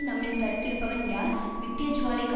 நம்மில் தரித்திருப்பவன் யார் நித்தியஜுவாலைக்கு